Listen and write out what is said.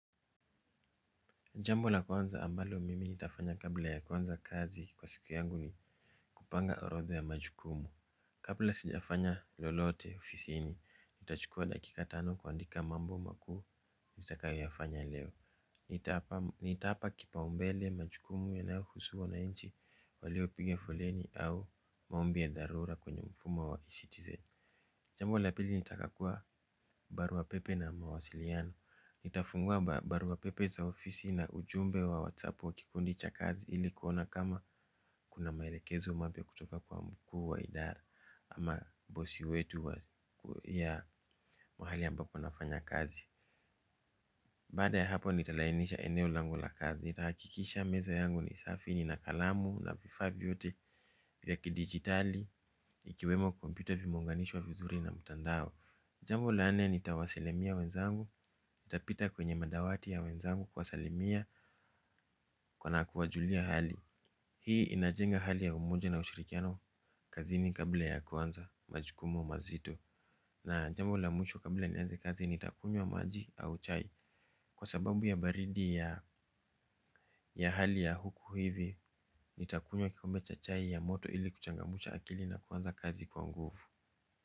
Jambo la kwanza ambalo mimi nitafanya kabla ya kuanza kazi kwa siku yangu ni kupanga orodha ya majukumu. Kabla sijafanya lolote ofisini nitachukua dakika tano kuandika mambo makuu nitakayofanya leo. Nitaapa kipaumbele majukumu yanaohusu wananchi waliopiga foleni au maombi ya dharura kwenye mfumo wa citizen. Jambo la pili nitakagua barua pepe na mawasiliano. Nitafungua barua pepe za ofisi na ujumbe wa whatsapp wa kikundi cha kazi ili kuona kama kuna maelekezo mapya kutoka kwa mkuu wa idara ama bosi wetu ya mahali ambapo nafanya kazi. Baada ya hapo nitalainisha eneo langu la kazi. Nitahakikisha meza yangu ni safi nina kalamu na vifaa vyote vya kidigitali ikiwemo computer vimeunganishwa vizuri na mtandao. Jambo la nne nitawasilimia wenzangu, nitapita kwenye madawati ya wenzangu kuwasalimia na kuwajulia hali. Hii inajenga hali ya umoja na ushirikiano kazini kabla ya kuanza majukumu mazito. Na jambo la mwisho kabla nianze kazi nitakunywa maji au chai. Kwa sababu ya baridi ya hali ya huku hivi nitakunywa kikombe cha chai ya moto ili kuchangamsha akili na kuanza kazi kwa nguvu.